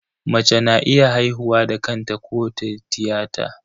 Mace na iya haihuwa da kanta ko ta tiyata.